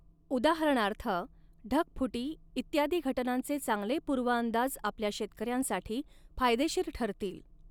उदाहरणार्थ, ढगफुटी इत्यादी घटनांचे चांगले पूर्वअंदाज आपल्या शेतकऱ्यांसाठी फायदेशीर ठरतील.